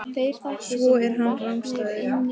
Svo er hann rangstæður.